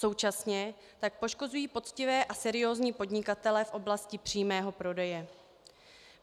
Současně tak poškozují poctivé a seriózní podnikatele v oblasti přímého prodeje.